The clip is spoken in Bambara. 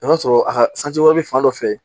I b'a sɔrɔ a ka wɛrɛ bɛ fan dɔ fɛ